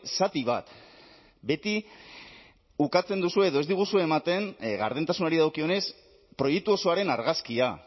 zati bat beti ukatzen duzue edo ez diguzu ematen gardentasunari dagokionez proiektu osoaren argazkia